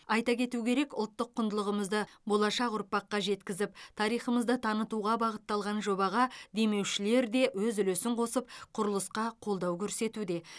айта кету керек ұлттық құндылығымызды болашақ ұрпаққа жеткізіп тарихымызды танытуға бағытталған жобаға демеушілер де өз үлесін қосып құрылысқа қолдау көрсетуде